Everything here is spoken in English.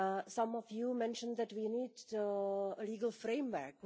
Some of you mentioned that we need a legal framework.